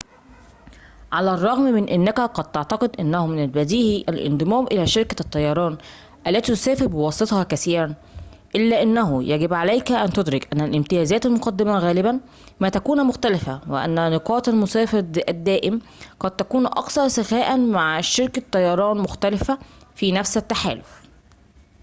على الرغم من أنك قد تعتقد أنه من البديهي الانضمام إلى شركة الطيران التي تسافر بواسطتها كثيراً إلا أنه يجب عليك أن تدرك أن الامتيازات المقدّمة غالبًا ما تكون مختلفة وأن نقاط المسافر الدائم قد تكون أكثر سخاءً مع شركة طيران مختلفةٍ في نفس التحالف